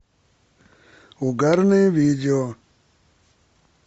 угарные видео